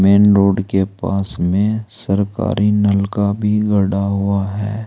Main road के पास में सरकारी नलका भी गड़ा हुआ है।